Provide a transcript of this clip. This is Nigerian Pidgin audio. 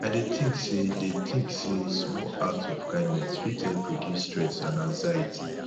i dey think say dey think say small acts of kindness fit help reduce stress and anxiety